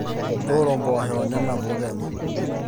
tooro impoosho onena puut enye